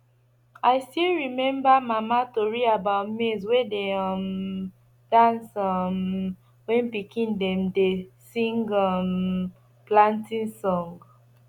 i still remember mama tori about maize wey dey um dance um when pikin dem dey sing um planting song